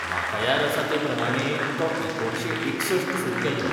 म्हाका याद आसा ते प्रमाणें तो एकुणशे एकसष्ठ सुरू केल्लो.